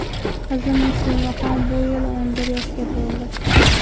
Qizim Muslimaxon bu yil o‘n bir yoshga to‘ldi.